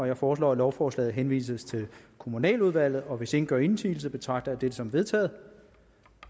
jeg foreslår at lovforslaget henvises til kommunaludvalget og hvis ingen gør indsigelse betragter jeg dette som vedtaget